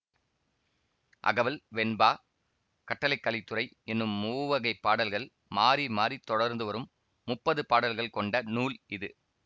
அகவல் வெண்பா கட்டளைக்கலித்துறை என்னும் மூவகைப் பாடல்கள் மாறி மாறித் தொடர்ந்துவரும் முப்பது பாடல்கள் கொண்ட நூல் இது